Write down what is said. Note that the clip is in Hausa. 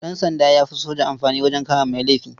Ɗansanda ya fi soja amfani wajen kama mai laifi.